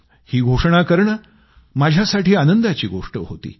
ही घोषणा करणे माझ्यासाठी आनंदाची गोष्ट होती